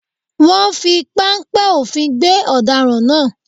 Wọ́n fi páńpẹ́ òfin gbé ọ̀daràn náà